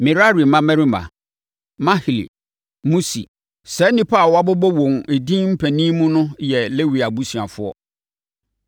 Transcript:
Merari mmammarima: Mahli, Musi. Saa nnipa a wɔabobɔ wɔn edin mpanin mu no no yɛ Lewi abusuafoɔ.